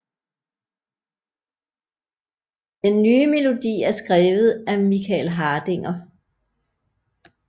Den nye melodi er skrevet af Michael Hardinger